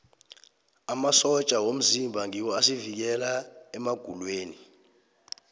amasotja womzimba ngiwo asivikela emagulweni